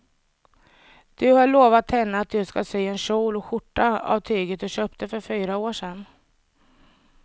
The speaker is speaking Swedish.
Du har lovat henne att du ska sy en kjol och skjorta av tyget du köpte för fyra år sedan.